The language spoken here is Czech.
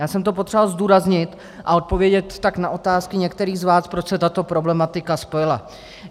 Já jsem to potřeboval zdůraznit a odpovědět tak na otázku některých z vás, proč se tato problematika spojila.